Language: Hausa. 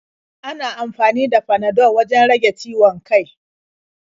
Ana amfani da Panadol wajen rage ciwon kai.